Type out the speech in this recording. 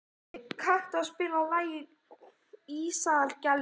Ævi, kanntu að spila lagið „Ísaðar Gellur“?